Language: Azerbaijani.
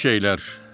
Kiçik şeylər.